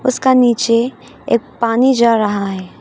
उसका नीचे एक पानी जा रहा है।